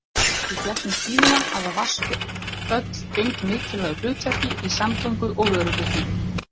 Í gegnum tíðina hafa vatnsföll gegnt mikilvægu hlutverki í samgöngum og vöruflutningum.